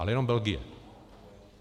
Ale jenom Belgie.